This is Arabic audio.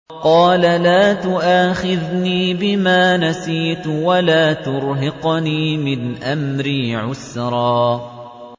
قَالَ لَا تُؤَاخِذْنِي بِمَا نَسِيتُ وَلَا تُرْهِقْنِي مِنْ أَمْرِي عُسْرًا